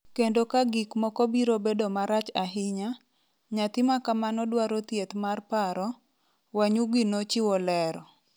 Kendo ka gik moko biro bedo marach ahinya, nyathi ma kamano dwaro thieth mar paro, Wanyugi nochiwo lero.